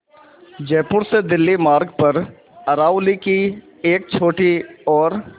जयपुर से दिल्ली मार्ग पर अरावली की एक छोटी और